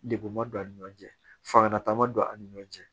Degun ma don a ni ɲɔgɔn cɛ fanga ta ma don a ni ɲɔgɔn cɛ